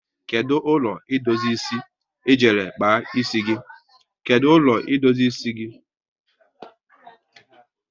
Kedụ ụlọ idozi ịsị e jere kpa ịsị gị?